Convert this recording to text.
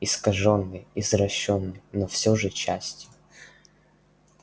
искажённой извращённой но всё же частью